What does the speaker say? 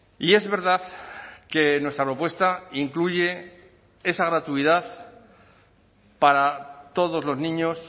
y es verdad que nuestra propuesta incluye esa gratuidad para todos los niños